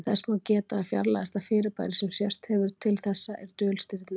þess má geta að fjarlægasta fyrirbæri sem sést hefur til þessa er dulstirni